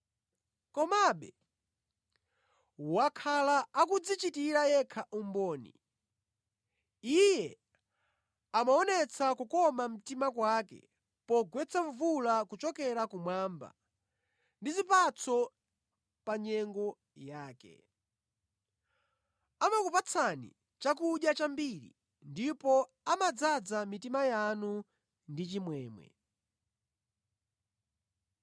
Komabe wakhala akudzichitira yekha umboni: Iye amaonetsa kukoma mtima kwake pogwetsa mvula kuchokera kumwamba ndi zipatso pa nyengo yake. Amakupatsani chakudya chambiri ndipo amadzaza mitima yanu ndi chimwemwe.”